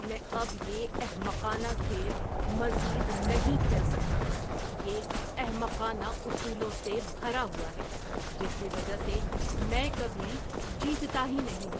میں اب یہ احمقانہ کھیل مزید نہیں کھیل سکتا۔ یہ احمقانہ اصولوں سے بھرا ہوا ہے جس کی وجہ سے میں کبھی جیتتا ہی نہیں ہوں۔